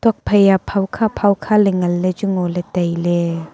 nokphai a phawkha phawkha ley nganley chu ngoley tailey.